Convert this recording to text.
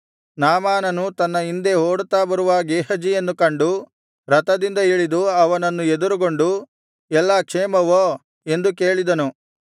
ನಾಮಾನನು ತನ್ನ ಹಿಂದೆ ಓಡುತ್ತಾ ಬರುವ ಗೇಹಜಿಯನ್ನು ಕಂಡು ರಥದಿಂದ ಇಳಿದು ಅವನನ್ನು ಎದುರುಗೊಂಡು ಎಲ್ಲಾ ಕ್ಷೇಮವೋ ಎಂದು ಕೇಳಿದನು